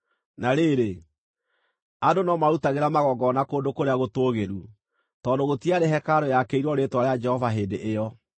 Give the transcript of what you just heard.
Na rĩrĩ, andũ no maarutagĩra magongona kũndũ kũrĩa gũtũũgĩru, tondũ gũtiarĩ hekarũ yaakĩirwo rĩĩtwa rĩa Jehova hĩndĩ ĩyo.